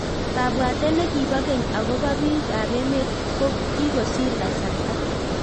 Kabwatet nekipoo keny akopoo piik ap emeet ko kikosir kasartaa